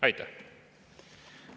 Aitäh!